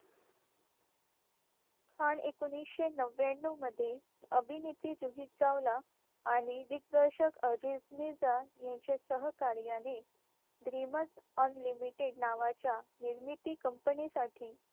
पण एकोणीशे नव्व्याण्णव मध्ये अभिनेत्री जुही चावला आणि दिग्दर्शक अजिज मिर्झा यांच्या सहकार्याने ड्रीमस unlimited नावाच्या निर्मिती company साठी